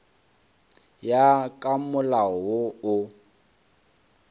ya ka molao wo o